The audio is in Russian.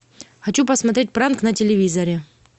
хочу посмотреть пранк на телевизоре